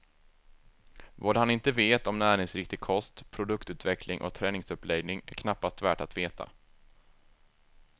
Vad han inte vet om näringsriktig kost, produktutveckling och träningsuppläggning är knappast värt att veta.